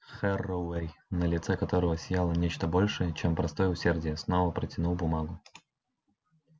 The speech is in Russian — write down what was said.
херроуэй на лице которого сияло нечто большее чем простое усердие снова протянул бумагу